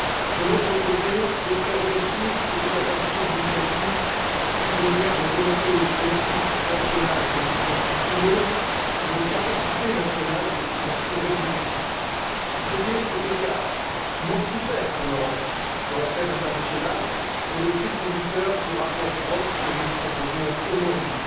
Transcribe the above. De l'autre côté, des prérogatives et des capacités d'initiative prisonnières de volontés politiques nationales de plus en plus frileuses et de capacités nationales de plus en plus réduites. Réduire cet écart, mortifère pour l'Europe, sur la scène internationale est le fil conducteur du rapport Brok que nous vous proposons aujourd'hui.